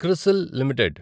CRISIL limited